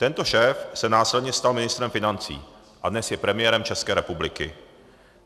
Tento šéf se následně stal ministrem financí a dnes je premiérem České republiky.